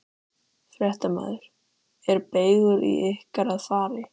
Fréttamaður: Er beygur í ykkur að fara?